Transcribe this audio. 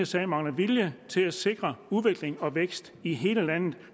sag mangler vilje til at sikre udvikling og vækst i hele landet